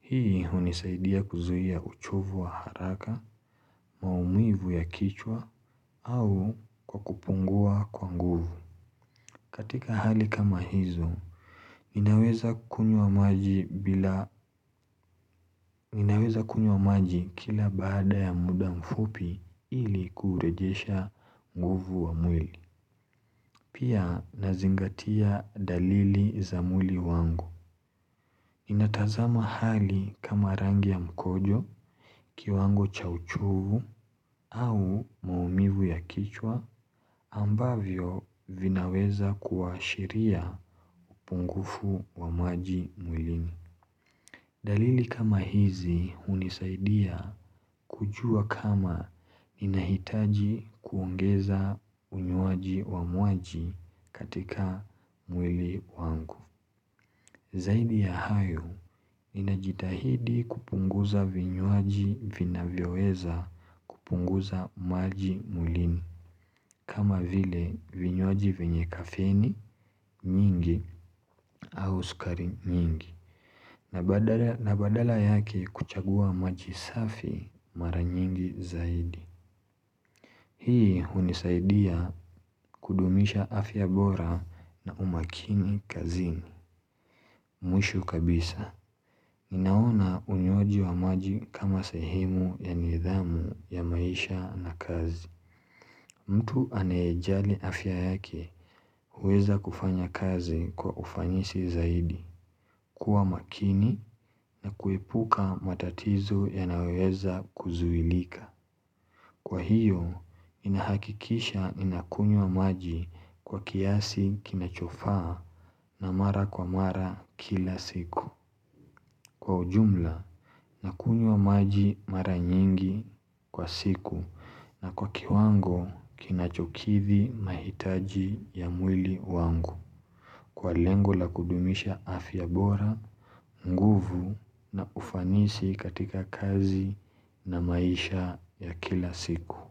Hii hunisaidia kuzuia uchovu wa haraka, maumivu ya kichwa au kwa kupungua kwa nguvu. Katika hali kama hizo, ninaweza kunywa maji bila maji kila baada ya muda mfupi ili kurejesha nguvu wa mwili. Pia nazingatia dalili za mwili wangu. Natazama hali kama rangi ya mkojo kiwango cha uchovu au maumivu ya kichwa ambavyo vinaweza kuashiria upungufu wa maji mwili. Dalili kama hizi hunisaidia kujua kama ninahitaji kuongeza unywaji wa maji katika mwili wangu Zaidi ya hayo ninajitahidi kupunguza vinywaji vinavyoweza kupunguza maji mwilini kama vile vinywaji venye kafeni nyingi au sukari nyingi na badala yake kuchagua maji safi maranyingi zaidi Hii hunisaidia kudumisha afya bora na umakini kazini Mwisho kabisa ninaona unywaji wa maji kama sehemu ya nidhamu ya maisha na kazi mtu anayejali afya yake huweza kufanya kazi kwa ufanisi zaidi kuwa makini na kuepuka matatizo ya nayoweza kuzuilika Kwa hiyo, ninahakikisha nakunywa maji kwa kiasi kinachofaa na mara kwa mara kila siku Kwa ujumla, nakunywa maji mara nyingi kwa siku na kwa kiwango kinachokidhi mahitaji ya mwili wangu Kwa lengo la kudumisha afya bora, nguvu na ufanisi katika kazi na maisha ya kila siku.